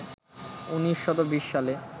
১৯২০ সালে